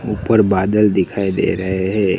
ऊपर बादल दिखाई दे रहे है।